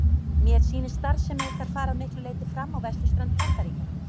Mér sýnist starfsemi ykkar fara að miklu leyti fram á vesturströnd Bandaríkjanna.